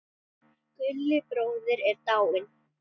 Gulli bróðir er dáinn.